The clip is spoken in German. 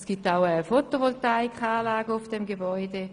Es gibt auch eine Photovoltaikanlage auf dem Gebäude.